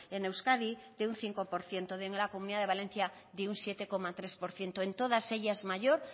en euskadi de un cinco por ciento en la comunidad de valencia de un siete coma tres por ciento en todas ellas mayor